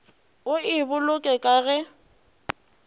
o e boloke ka ge